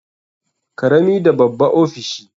Karami da babba ofishi.